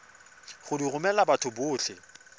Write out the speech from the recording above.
go di romela batho botlhe